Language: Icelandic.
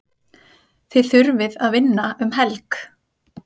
Þið þurfið að vinna um helg?